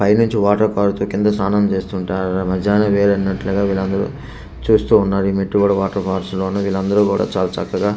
పైనుంచి వాటర్ కింద స్నానం చేస్తుంటే వీళ్ళ మజానే వేరు అన్నట్లుగా వీరు అందరు చూస్తూ ఉన్నారు ఇ మెట్టు గూడ వాటర్ పాల్స్ వీరు అందరు కూడ చాలా చక్కగా --